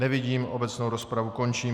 Nevidím, obecnou rozpravu končím.